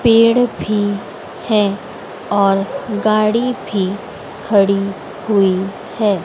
पेड़ भी है और गाड़ी भी खड़ी हुई है।